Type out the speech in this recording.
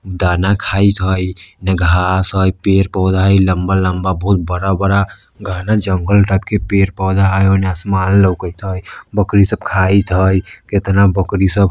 दाना खाईत हई येने घास हई पेड़ पौधा हई लंबा-लंबा बहुत बड़ा-बड़ा घना जंगल टाइप के पेड़-पौधा हई औने आसमान लोकत हई बकरी सब खाइत हई कितना बकरी सब --